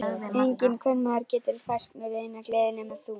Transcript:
Enginn kvenmaður getur fært mér neina gleði nema þú.